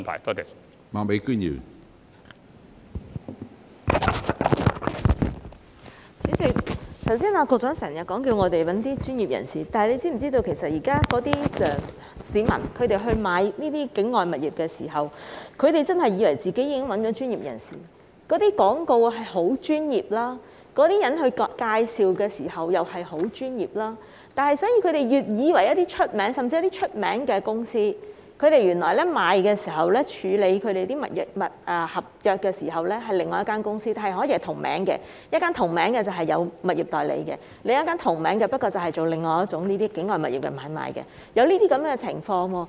主席，局長剛才不斷叫大家去找一些專業人士，但他是否知道市民現在購買境外物業時，真的以為自己已經找到專業人士處理，因為那些廣告很專業，有關人士作出介紹時也很專業，甚至他們找了有名氣的公司購買物業，但原來處理物業合約的卻是另外一間公司，因為兩間公司是同名的，一間負責物業代理，另一間則負責境外物業的買賣，現在的確出現了這些情況。